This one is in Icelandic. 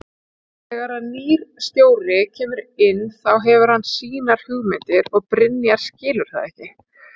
Þegar að nýr stjóri kemur inn þá hefur hann sínar hugmyndir og Brynjar skilur það.